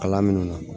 Kalan minnu na